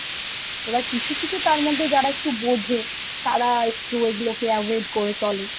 এবার কিছু কিছু তার মধ্যে যারা একটু বোঝে, তারা একটু এগুলোকে avoid করে চলে